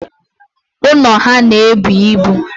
Ụnọ ha na-ebu ibu.